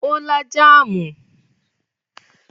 Ó lá jáámù?